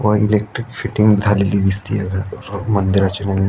व electric fitting झालेली दिसतिये अ मंदिराची --